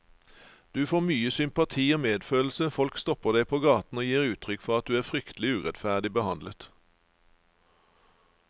Du få mye sympati og medfølelse, folk stopper deg på gaten og gir uttrykk for at du er fryktelig urettferdig behandlet.